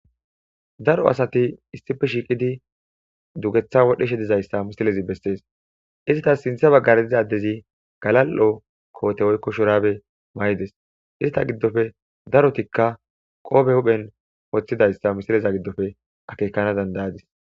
Daro asati issife shiiqidi dugetha wodheshe dizayssa misilezi bessees izitas sintha baggare dizadezi galal,o koote woykko shuraabe may7ides izita giddofe darotikka qoobe huphen woththidayssa misileza giddofe akekana dandayadis.